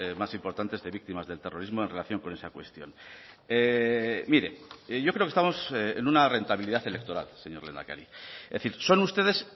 más importantes de víctimas del terrorismo en relación con esa cuestión mire yo creo que estamos en una rentabilidad electoral señor lehendakari es decir son ustedes